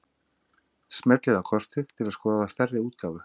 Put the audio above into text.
Smellið á kortið til að skoða stærri útgáfu.